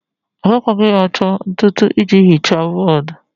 Agakwaghị achọ ntụ ntụ iji hichaa bọọdụ.